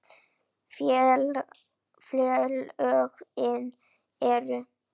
Félögin eru